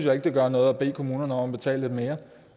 at det gør noget at bede kommunerne om at betale lidt mere